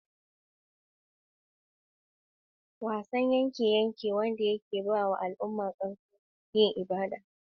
Wrestling (Greco-Roman): Wasan yaƙe-yaƙe wanda ya haɗa da dabarun kokawa da jifa.